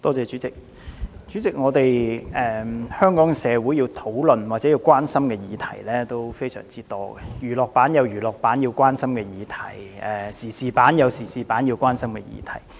代理主席，香港社會要討論或關心的議題相當多，娛樂版有市民關心的議題，時事版也有市民關心的議題。